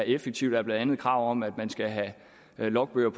effektivt er blandt andet kravet om at man skal have logbøger